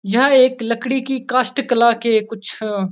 यहाँ एक लकड़ी की कास्ट कला के कुछ --